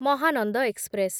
Mahananda express